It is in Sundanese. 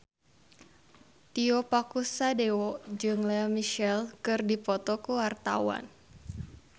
Tio Pakusadewo jeung Lea Michele keur dipoto ku wartawan